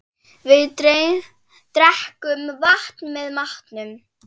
Við drekkum vatn með matnum.